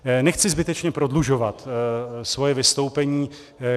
Nechci zbytečně prodlužovat svoje vystoupení.